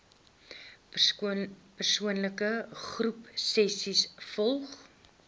persoon groepsessies volgens